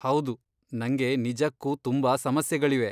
ಹೌದು, ನಂಗೆ ನಿಜಕ್ಕೂ ತುಂಬಾ ಸಮಸ್ಯೆಗಳಿವೆ.